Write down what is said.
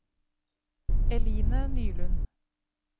Eline Nylund